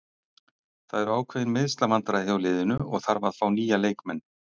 Það eru ákveðin meiðslavandræði hjá liðinu og þarf að fá nýja leikmenn.